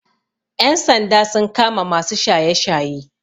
Ƴan sanda sun kama masu shaye shaye